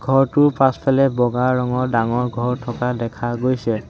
ফটোখনত এখন ডাঙৰ ফিল্ড দেখিবলৈ পোৱা গৈছে।